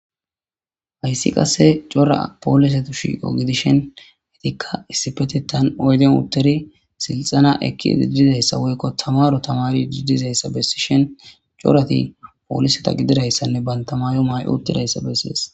hayssi qasse cora poolisetu shiiqo gidishen hetikka issipete tan oyden utteri silxana ekki idididayssa woykko tamaro tamari didizayssa bessi shen corati pooliseta gididayssanne bantamaayo may7o uttidayssa bessies